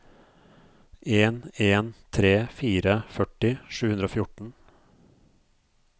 en en tre fire førti sju hundre og fjorten